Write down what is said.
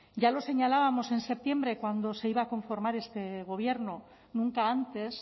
ya lo señalábamos en septiembre cuando se iba a conformar este gobierno nunca antes